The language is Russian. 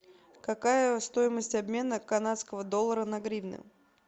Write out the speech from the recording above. какая стоимость обмена канадского доллара на гривны